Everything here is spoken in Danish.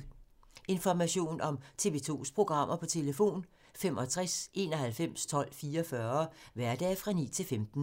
Information om TV 2's programmer: 65 91 12 44, hverdage 9-15.